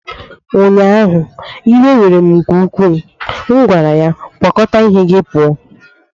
ụnyaahụ, iwe were m nke ukwuu, m gwara ya, kwakọta ihe gị pụọ!